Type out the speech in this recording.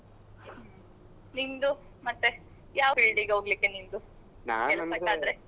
ನಿಂದು ಮತ್ತೆ ಯಾವ field ಗೆ ಹೋಗ್ಲಿಕ್ಕೆ ನಿಂದು ಕೆಲ್ಸಕ್ ಆದ್ರೆ?